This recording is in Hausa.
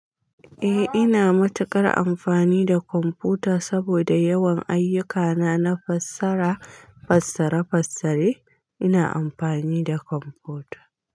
Eh, ina matuƙar amfani da kwamfuta saboda yawan ayyukana na fassara, fassare, fassare ina amfani da kwamfuta.